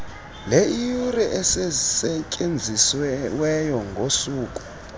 leeyure ezisetyenziweyo ngosuku